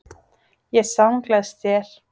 Ég samgleðst þér.